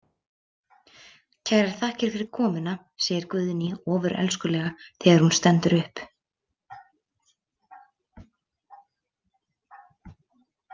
Kærar þakkir fyrir komuna, segir Guðný ofurelskulega þegar hún stendur upp.